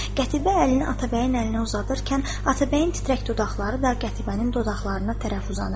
Qətibə əlini Atabəyin əlinə uzadarkən, Atabəyin titrək dodaqları da Qətibənin dodaqlarına tərəf uzanırdı.